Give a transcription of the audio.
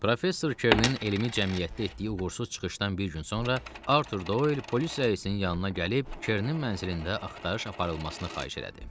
Professor Kernin elmi cəmiyyətdə etdiyi uğursuz çıxışdan bir gün sonra Artur Doyl polis rəisinin yanına gəlib Kernin mənzilində axtarış aparılmasını xahiş elədi.